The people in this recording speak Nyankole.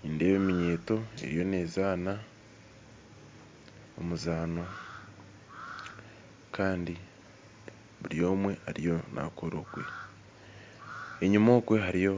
Nindeeba eminyeeto eriyo nezaana emizaano Kandi buri omwe ariyo nakora ogwe enyuma okwe hariyo